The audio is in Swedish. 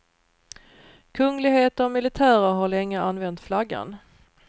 Kungligheter och militärer har länge använt flaggan.